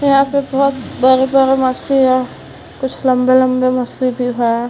यहाँ पे बोहोत बरे-बरे मछली है। कुछ लम्बे-लम्बे मछली भी है।